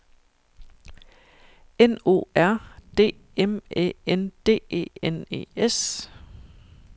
N O R D M Æ N D E N E S